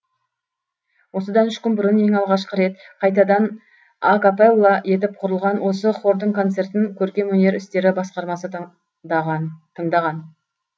осыдан үш күн бұрын ең алғашқы рет қайтадан а капелла етіп құрылған осы хордың концертін көркемөнер істері басқармасы тыңдаған